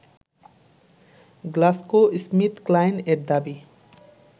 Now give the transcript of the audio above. GlaxoSmithKline এর দাবি